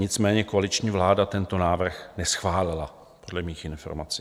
Nicméně koaliční vláda tento návrh neschválila dle mých informací.